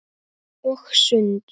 Og sund.